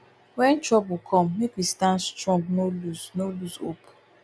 wen trouble come make we stand strong no lose no lose hope